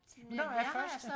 Hvornår er første?